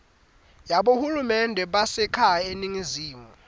yabohulumende basekhaya baseningizimu